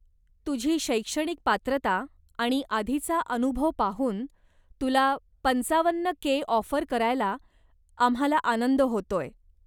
तुझी शैक्षणिक पात्रता आणि आधीचा अनुभव पाहून तुला पंचावन्न के ऑफर करायला आम्हाला आनंद होतोय.